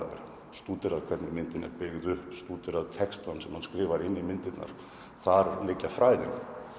stúderað hvernig myndin er byggð upp stúderað textann sem er skrifaður inn í myndina þar liggja fræðin